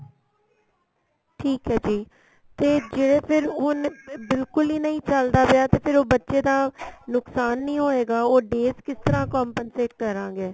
ਠੀਕ ਏ ਜੀ ਤੇ ਜਿਹੜਾ ਫੇਰ ਹੁਣ ਬਿਲਕੁਲ ਹੀ ਨਹੀਂ ਚਲਦਾ ਪਿਆ ਤੇ ਫ਼ਿਰ ਉਹ ਬੱਚੇ ਦਾ ਨੁਕਸਾਨ ਨਹੀਂ ਹੋਏਗਾ ਉਹ days ਕਿਸ ਤਰ੍ਹਾਂ compensate ਕਰਾਂਗੇ